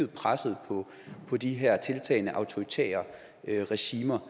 presset på de her tiltagende autoritære regimer